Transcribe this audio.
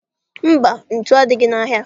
Mba, ntu adịghị n'ahịa.